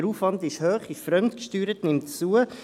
Der Aufwand ist hoch und fremdgesteuert und nimmt zu.